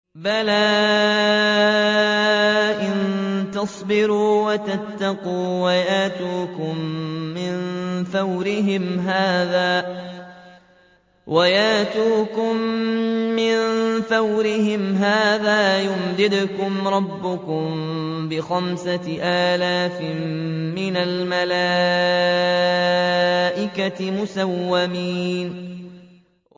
بَلَىٰ ۚ إِن تَصْبِرُوا وَتَتَّقُوا وَيَأْتُوكُم مِّن فَوْرِهِمْ هَٰذَا يُمْدِدْكُمْ رَبُّكُم بِخَمْسَةِ آلَافٍ مِّنَ الْمَلَائِكَةِ مُسَوِّمِينَ